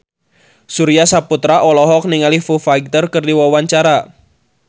Surya Saputra olohok ningali Foo Fighter keur diwawancara